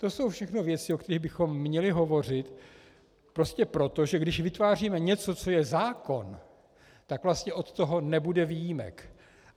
To jsou všechno věci, o kterých bychom měli hovořit prostě proto, že když vytváříme něco, co je zákon, tak vlastně od toho nebude výjimek.